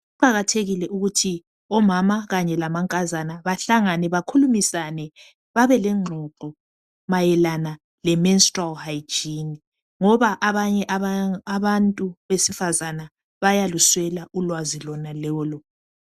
Kuqakathekile ukuthi omama kanye lamankazana bahlangane bakhulumisane babelengxoxo mayelana le menstrual hygiene ngoba abanye abantu besifazane bayaluswela ulwazi lonalolo.